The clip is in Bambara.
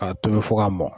K'a tobi fo k'a mɔn